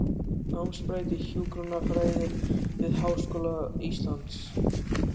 Námsbraut í hjúkrunarfræði við Háskóla Íslands.